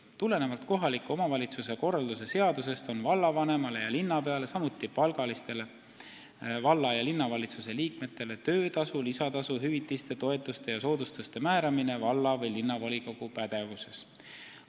Tulenevalt kohaliku omavalitsuse korralduse seadusest on vallavanemale ja linnapeale, samuti palgalistele valla- ja linnavalitsuse liikmetele töötasu, lisatasu, hüvitiste, toetuste ja soodustuste määramine valla- või linnavolikogu pädevuses.